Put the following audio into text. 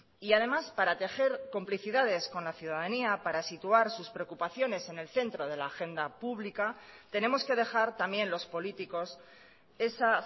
además para tejer complicidades con la ciudadanía para situar sus preocupaciones en el centro de la agenda pública tenemos que dejar también los políticos esa